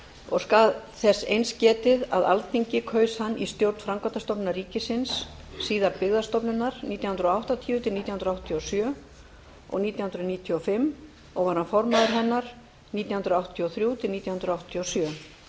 og skal þess eins getið að alþingi kaus hann í stjórn framkvæmdastofnunar ríkisins síðar byggðastofnunar nítján hundruð áttatíu til nítján hundruð áttatíu og sjö og nítján hundruð níutíu og fimm og var hann formaður hennar nítján hundruð áttatíu og þrjú til nítján hundruð áttatíu og sjö